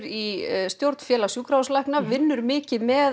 í stjórn Félags sjúkrahúslækna vinnur mikið með